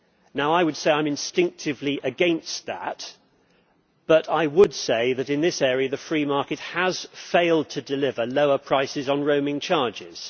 Now, I would say that I am instinctively against that, but I would say that in this area the free market has failed to deliver lower prices on roaming charges.